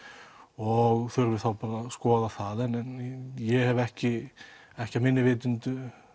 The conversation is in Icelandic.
og þurfi þá bara að skoða það en ég hef ekki ekki að minni vitund